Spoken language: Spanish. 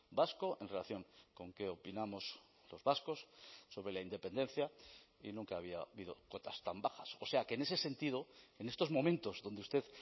vasco en relación con qué opinamos los vascos sobre la independencia y nunca había habido cotas tan bajas o sea que en ese sentido en estos momentos donde usted